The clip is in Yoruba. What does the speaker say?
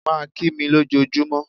Má a kí mi ló jọ júmọ́.